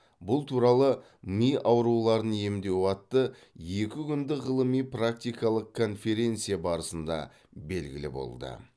бұл туралы ми ауруларын емдеу атты екі күндік ғылыми практикалық конференция барысында белгілі болды